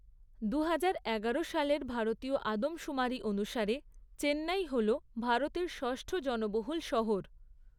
দুহাজার এগারো সালের ভারতীয় আদমশুমারি অনুসারে চেন্নাই হল ভারতের ষষ্ঠ জনবহুল শহর।